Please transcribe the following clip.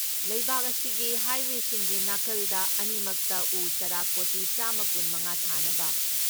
ꯂꯩꯕꯥꯛ ꯑꯁꯤꯒꯤ ꯍꯥꯏꯋꯦꯁꯤꯡꯒꯤ ꯅꯥꯀꯜꯗ ꯑꯅꯤꯃꯛꯇ ꯎ ꯆꯥꯔꯥ ꯀꯣꯇꯤ ꯆꯥꯝꯃ ꯀꯨꯟ ꯃꯉꯥ ꯊꯥꯅꯕ